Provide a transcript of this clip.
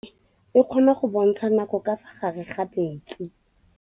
Toga-maanô e, e kgona go bontsha nakô ka fa gare ga metsi.